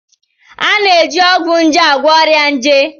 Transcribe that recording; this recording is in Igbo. A na-eji ọgwụ nje agwọ ọrịa nje.